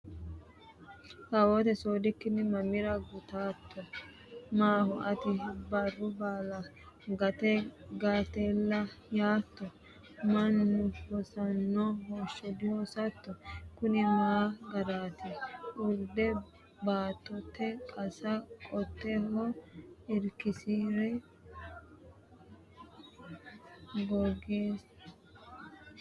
Kawoote soodikkinni mamira gutatto? Maaho ati barru baala gate gatella yaatto? Mannu hosanno hoshsha dihosatto? Kuni ma garaati? (Urde baattote qase qoteho irkisi’re Doogiso xunse la”ara dandano?